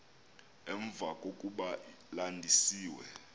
emva kokuba landisiwe